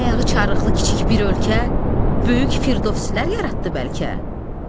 Ayağı çarıqlı kiçik bir ölkə, böyük firdovsilər yaratdı bəlkə?